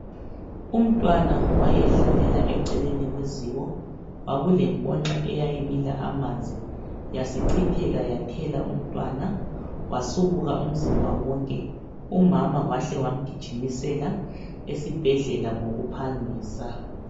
Umntwana wayedlalela eceleni kweziko, kwakule nkonxa eyayibila amanzi yasichitheka yathela umntwana, wasubuka umzimba wonke umama wahle wamgijimisela esibhedlela ngokuphangisa.